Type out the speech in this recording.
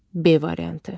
B variantı.